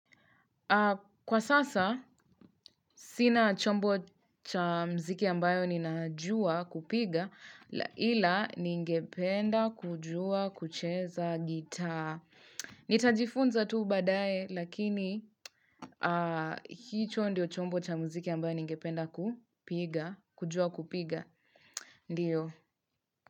Kwa sasa, sina chombo cha muziki ambayo ninajua kupiga, ila ningependa kujua kucheza gitaa. Nitajifunza tu baadaye, lakini hicho ndiyo chombo cha muziki ambayo ningependa kujua kupiga. Ndiyo.